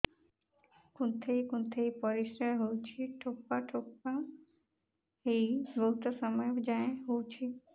କୁନ୍ଥେଇ କୁନ୍ଥେଇ ପରିଶ୍ରା ହଉଛି ଠୋପା ଠୋପା ହେଇ ବହୁତ ସମୟ ଯାଏ ହଉଛି